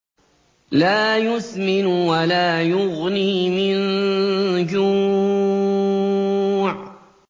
لَّا يُسْمِنُ وَلَا يُغْنِي مِن جُوعٍ